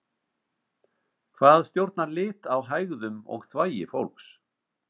Hvað stjórnar lit á hægðum og þvagi fólks?